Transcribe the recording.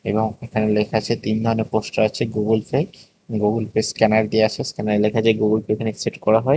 এবং এখানে লেখা আছে তিন ধরনের পোস্টার আছে Google Pay Google Pay scanner দিওয়া আছে স্ক্যানারে লেখা আছে গুগল পে এখানে একসেপ্ট করা হয়।